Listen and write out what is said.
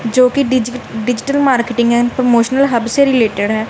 जो की डीज digital marketing and promotion hub से रिलेटेड है।